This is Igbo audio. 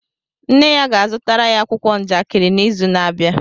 Nne ya ga-azụtara ya akwụkwọ njakịrị n'izu na-abịa